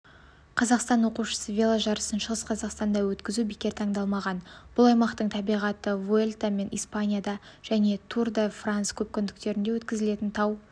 қазақстан оқушысы веложарысын шығыс қазақстанда өткізу бекер таңдалмаған бұл аймақтың табиғаты вуэльта мен испанияда және тур де франс көпкүндіктері өткізілетін тау